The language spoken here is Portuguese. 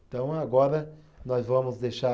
Então agora nós vamos deixar.